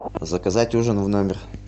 заказать ужин в номер